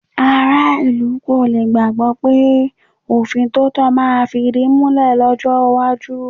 Aráàlú kò le gbàgbọ́ pé òfin tòótọ́ máa fìdímúlẹ̀ lọ́jọ́ iwájú.